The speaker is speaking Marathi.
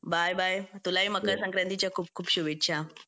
बाय बाय तुलाही मकर संक्रांतीच्या खूप खूप शुभेच्छा